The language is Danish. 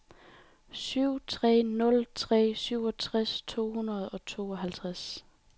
syv tre nul tre syvogtres to hundrede og tooghalvtreds